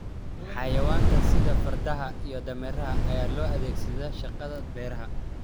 Xayawaanka sida fardaha iyo dameeraha ayaa loo adeegsadaa shaqada beeraha.